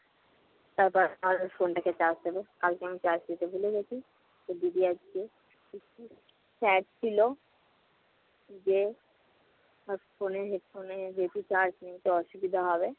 তারপর আমার phone টাকে charge দেবো। কালকে আমি charge দিতে ভুলে গেছি। তো দিদি আজকে একটু sad ছিল যে তার phone এ হচ্ছে যেহেতু charge নেই তো অসুবিধা হবে